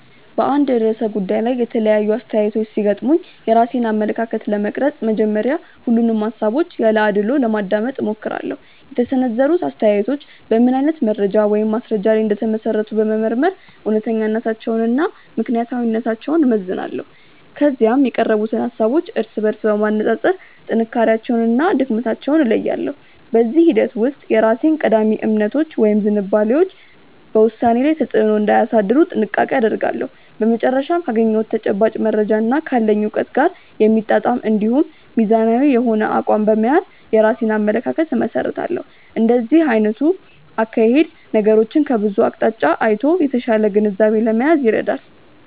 በአንድ ርዕሰ ጉዳይ ላይ የተለያዩ አስተያየቶች ሲገጥሙኝ የራሴን አመለካከት ለመቅረጽ መጀመሪያ ሁሉንም ሃሳቦች ያለ አድልዎ ለማዳመጥ እሞክራለሁ። የተሰነዘሩት አስተያየቶች በምን አይነት መረጃ ወይም ማስረጃ ላይ እንደተመሰረቱ በመመርመር እውነተኛነታቸውንና ምክንያታዊነታቸውን እመዝናለሁ። ከዚያም የቀረቡትን ሃሳቦች እርስ በርስ በማነጻጸር ጥንካሬያቸውንና ድክመታቸውን እለያለሁ። በዚህ ሂደት ውስጥ የራሴ ቀዳሚ እምነቶች ወይም ዝንባሌዎች በውሳኔዬ ላይ ተጽዕኖ እንዳያሳድሩ ጥንቃቄ አደርጋለሁ። በመጨረሻም ካገኘሁት ተጨባጭ መረጃና ካለኝ እውቀት ጋር የሚጣጣም እንዲሁም ሚዛናዊ የሆነ አቋም በመያዝ የራሴን አመለካከት እመሰርታለሁ። እንዲህ አይነቱ አካሄድ ነገሮችን ከብዙ አቅጣጫ አይቶ የተሻለ ግንዛቤ ለመያዝ ይረዳል።